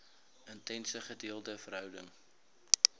intense gedeelde verhouding